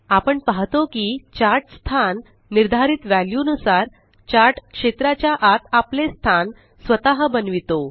आपण पाहतो की चार्ट स्थान निर्धरित वॅल्यू नुसार चार्ट क्षेत्राच्या आत आपले स्थान स्वतः बनवितो